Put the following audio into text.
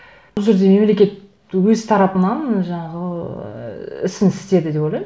бұл жерде мемлекет өз тарапынан жаңағы ыыы ісін істеді деп ойлаймын